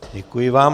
Děkuji vám.